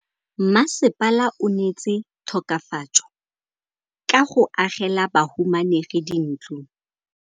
Mmasepala o neetse tokafatsô ka go agela bahumanegi dintlo.